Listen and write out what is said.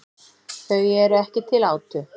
Þau eru ekki til átu.